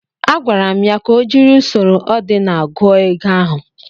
Agwara m ya ka o jiri usoro odinal gụọ ego ahụ.